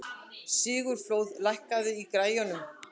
Sigurfljóð, lækkaðu í græjunum.